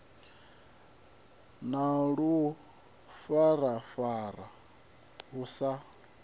na ḽu farafara hu sa